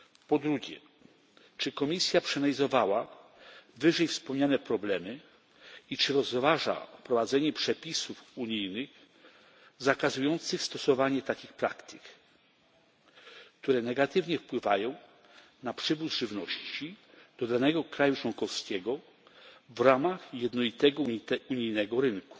Po drugie, czy Komisja przeanalizowała wyżej wspomniane problemy i czy rozważa wprowadzenie przepisów unijnych zakazujących stosowania takich praktyk, które negatywnie wpływają na przywóz żywności do danego kraju członkowskiego w ramach jednolitego unijnego rynku?